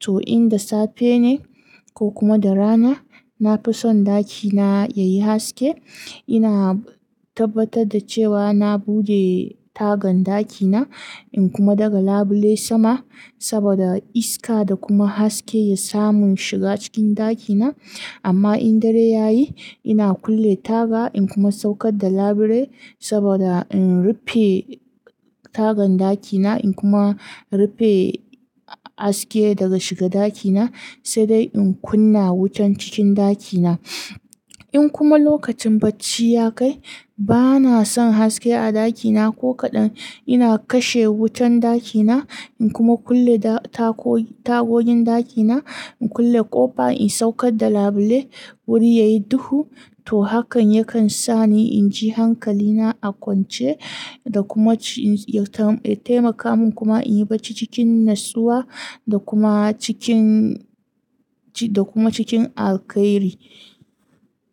To in da safe ne ko kuma da rana, nafi son ɗakina yayi haske. Ina tabbatar da cewa na buɗe tagan ɗakina in kuma daga labule sama saboda iska da kuma haske ya samu shiga cikin ɗakina. Amma in dare yayi ina kulle taga in kuma saukar da labule saboda in rufe tagan ɗakina in kuma rufe haske daga shiga ɗakina, sai dai in kunna wutan cikin ɗakina. In kuma lokacin bacci ya kai, bana son haske a ɗakina ko kaɗan. Ina kashe wutan ɗakina in kuma kulle tagogin ɗakina, in kulle ƙofa in saukar da labule wuri yayi duhu. To hakan yakan sa ni inji hankalina a kwance da kuma ya taimaka min kuma in yi bacci cikin natsuwa da kuma cikin, da kuma cikin alkhairi.